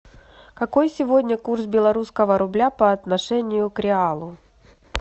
какой сегодня курс белорусского рубля по отношению к реалу